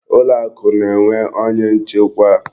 Ụlọakụ na-enwe onye nchekwa.